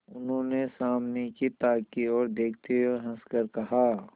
उन्होंने सामने की ताक की ओर देखते हुए हंसकर कहा